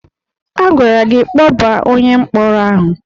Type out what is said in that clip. A gwara gị kpọbaa onye mkpọrọ ahụ!